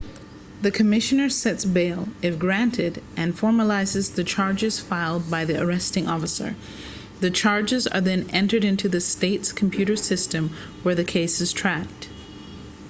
the commissioner sets bail if granted and formalizes the charges filed by the arresting officer the charges are then entered into the state's computer system where the case is tracked